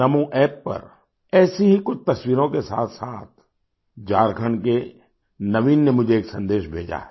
NamoApp पर ऐसी ही कुछ तस्वीरों के साथसाथ झारखंड के नवीन ने मुझे एक सन्देश भेजा है